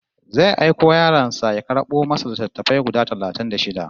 Zai aiki yaron sa ya karɓo masa littattafai guda talatin da shida